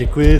Děkuji.